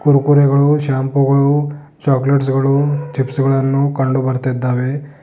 ಕುರ್ಕುರೆಗಳು shampoo ಗಳು chocolates ಗಳು chips ಗಳನ್ನು ಕಂಡು ಬರ್ತೀದ್ದಾವೆ.